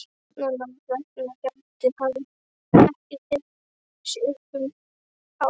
Barnanna vegna gæti hann ekki tekið sig upp um hávetur.